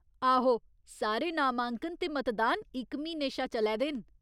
आहो, सारे नामांकन ते मतदान इक म्हीने शा चलै दे न।